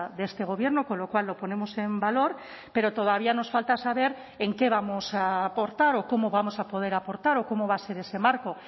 de este gobierno con lo cual lo ponemos en valor pero todavía nos falta saber en qué vamos a aportar o cómo vamos a poder aportar o cómo va a ser ese marco